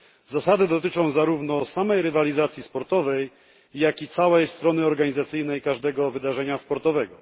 Zasady dotyczą zarówno samej rywalizacji sportowej, jak i całej strony organizacyjnej każdego wydarzenia sportowego.